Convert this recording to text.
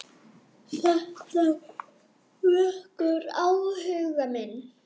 Þetta vekur áhuga minn.